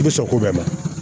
I bɛ sɔn ko bɛɛ ma